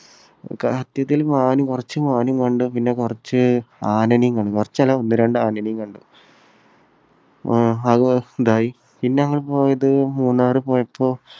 കയറ്റത്തിൽ മാൻ കുറച്ച് മാൻ കണ്ടു. പിന്നെ കുറച്ച് ആനനിം കണ്ടു. കുറച്ചല്ല ഒന്നു രണ്ട് ആനനിം കണ്ടു. അഹ് അത് ഇതായി. പിന്നെ ഞങ്ങൾ പോയത് മൂന്നാറിൽ പോയപ്പോൾ